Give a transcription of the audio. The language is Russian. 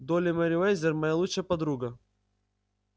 долли мерриуэзер моя лучшая подруга